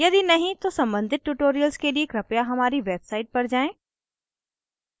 यदि नहीं तो सम्बंधित tutorials के लिए कृपया हमारी website पर जाएँ